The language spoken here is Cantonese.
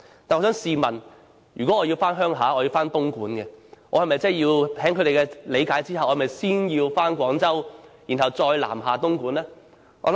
但是，我想問如果我要回東莞鄉下，以他們的理解，我是否要先到廣州，然後再南下東莞呢？